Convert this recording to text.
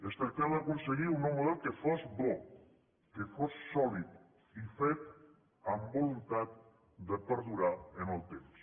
es tractava d’aconseguir un nou model que fos bo que fos sòlid i fet amb voluntat de perdurar en el temps